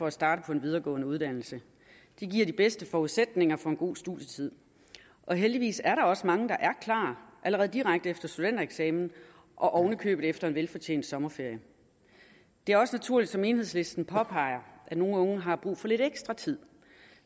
at starte på en videregående uddannelse det giver de bedste forudsætninger for en god studietid og heldigvis er der også mange der er klar direkte efter studentereksamen og oven i købet efter en velfortjent sommerferie det er også naturligt som enhedslisten påpeger at nogle unge har brug for lidt ekstra tid